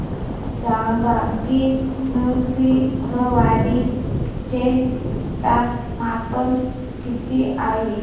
सांगा की नृसिंहवाडी चे तापमान किती आहे